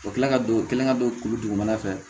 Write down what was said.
U kila ka don u kɛlen ka don kuru dugumana fɛ